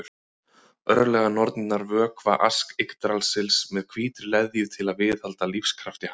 örlaganornirnar vökva ask yggdrasils með hvítri leðju til að viðhalda lífskrafti hans